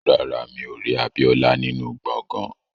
Rárá, mi ò rí Abíọ́lá nínú gbọ̀ngán